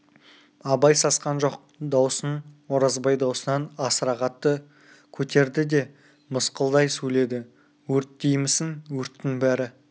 абай сасқан жоқ даусын оразбай даусынан асыра қатты көтерді де мысқылдай сөйледі өрт деймісің өрттің бәрі